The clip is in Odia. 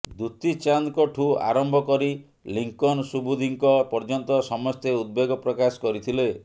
ଦ୍ବୁତି ଚାନ୍ଦଙ୍କଠୁ ଆରମ୍ଭ କରି ଲିଙ୍କନ ସୁବୁଧିଙ୍କ ପର୍ଯ୍ୟନ୍ତ ସମସ୍ତେ ଉଦବେଗ ପ୍ରକାଶ କରିଥିଲେ